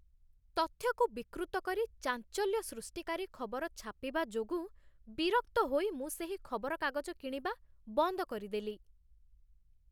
ତଥ୍ୟକୁ ବିକୃତ କରି ଚାଞ୍ଚଲ୍ୟ ସୃଷ୍ଟିକାରୀ ଖବର ଛାପିବା ଯୋଗୁଁ ବିରକ୍ତ ହୋଇ ମୁଁ ସେହି ଖବରକାଗଜ କିଣିବା ବନ୍ଦ କରିଦେଲି